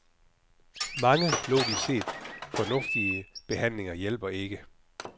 Mange, logisk set, fornuftige behandlinger hjælper ikke.